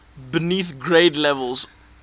beneath grade levels